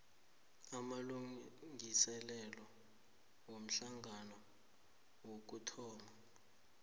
amalungiselelo womhlangano wokuthoma